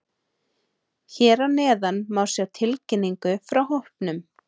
Hér að neðan má sjá tilkynningu frá hópnum.